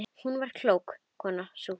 Hún var klók, konan sú.